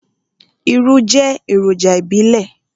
Irú jẹ́ èròjà ìbílẹ̀.